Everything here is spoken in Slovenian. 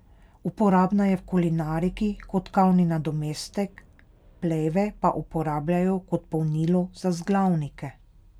Uporabna je v kulinariki kot kavni nadomestek, pleve pa uporabljajo kot polnilo za vzglavnike.